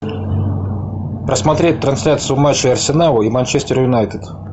посмотреть трансляцию матча арсенала и манчестер юнайтед